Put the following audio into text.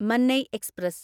Mannai express